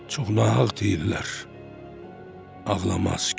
Çox nahaq deyirlər, ağlamaz kişi.